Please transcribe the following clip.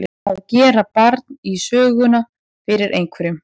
Að gera barn í söguna fyrir einhverjum